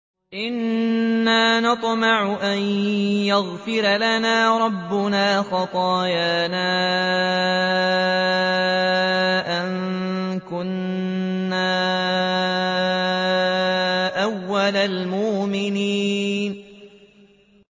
إِنَّا نَطْمَعُ أَن يَغْفِرَ لَنَا رَبُّنَا خَطَايَانَا أَن كُنَّا أَوَّلَ الْمُؤْمِنِينَ